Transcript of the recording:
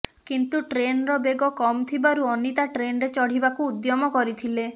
କିନ୍ତୁ ଟ୍ରେନର ବେଗ କମ୍ ଥିବାରୁ ଅନୀତା ଟ୍ରେନରେ ଚଢ଼ିବାକୁ ଉଦ୍ୟମ କରିଥିଲେ